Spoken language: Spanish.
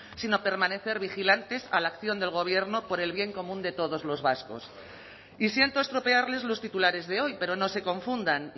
sino permanecer vigilantes a la acción del gobierno por el bien común de todos los vascos y siento estropearles los titulares de hoy pero no se confundan